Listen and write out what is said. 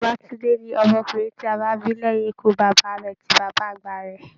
Babatunde ni ọmọkùnrin ti a bí lẹyìn ikú bàbá rẹ̀ tí bàbá àgbà rẹ.